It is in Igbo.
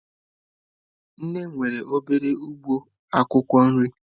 Nne m nwere obere ugbo akwukwo nri.